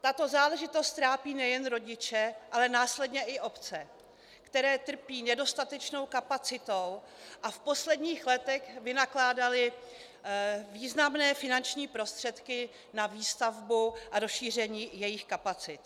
Tato záležitost trápí nejen rodiče, ale následně i obce, které trpí nedostatečnou kapacitou a v posledních letech vynakládaly významné finanční prostředky na výstavbu a rozšíření jejich kapacit.